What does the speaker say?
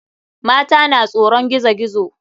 Mata na tsoron gizo gizo.